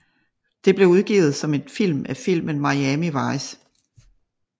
Det blev udgivet som et spil af filmen Miami Vice